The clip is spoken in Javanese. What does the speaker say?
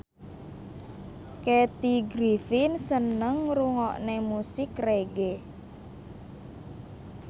Kathy Griffin seneng ngrungokne musik reggae